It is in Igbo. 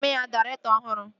Anyị a ga-eme ya dairektọ ọhụrụ?